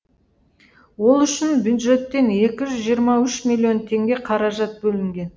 ол үшін бюджеттен екі жүз жиырма үш миллион теңге қаражат бөлінген